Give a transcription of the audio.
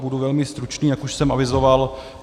Budu velmi stručný, jak už jsem avizoval.